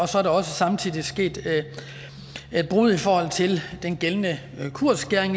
så er der også samtidig sket et brud i forhold til den gældende kursskæring